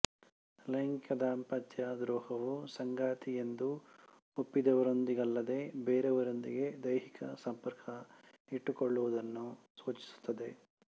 ಲೈಂಗಿಕ ದಾಂಪತ್ಯ ದ್ರೋಹವು ಸಂಗಾತಿಯೆಂದು ಒಪ್ಪಿದವರೊಂದಿಗಲ್ಲದೆ ಬೇರೆಯವರೊಂದಿಗೆ ದೈಹಿಕ ಸಂಪರ್ಕ ಇಟ್ಟುಕೊಳ್ಳುವುದನ್ನು ಸೂಚಿಸುತ್ತದೆ